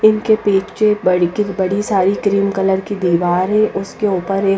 इनके पीचे बड़ी की बड़ी सारी क्रीम कलर की दीवारें उसके ऊपर एक --